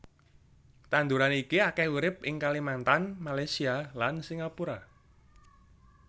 Tanduran iki akèh urip ing Kalimantan Malaysia lan Singapura